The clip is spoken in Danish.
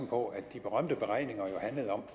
på at de berømte beregninger handlede om